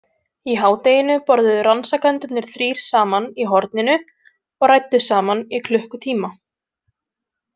Í hádeginu borðuðu rannsakendurnir þrír saman í „horninu“ og ræddu saman í klukkutíma.